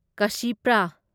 ꯀꯁꯤꯄ꯭ꯔꯥ